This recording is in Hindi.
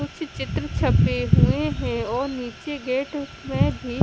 कुछ चित्र छपे हुए हैं और नीचे गेट में भी--